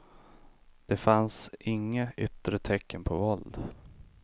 Det fanns inga yttre tecken på våld.